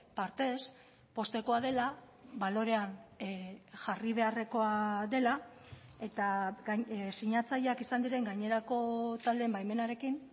partez poztekoa dela balorean jarri beharrekoa dela eta sinatzaileak izan diren gainerako taldeen baimenarekin